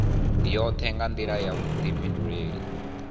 yoṱhe nga nḓila ya vhuḓifhinduleli